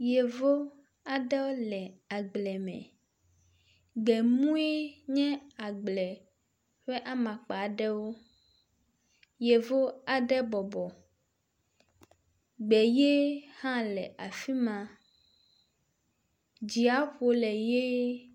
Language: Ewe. Yevu aɖewo le agble me. Gbemue nye agble ƒe amakpa aɖewo. Yevu aɖe bɔbɔ, gbe ʋie hã le afi ma. Dziaƒo le ʋie.